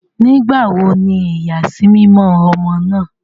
Nígbàwò ní iyasimimọ ọmọ náà?